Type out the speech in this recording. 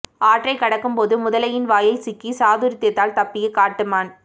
ஆற்றை கடக்கும் போது முதலையின் வாயில் சிக்கி சாதுரியத்தால் தப்பித்த காட்டுமான்